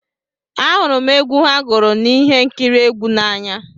Ahụrụ m egwu ha gụrụ na ihe nkiri egwu a n'anya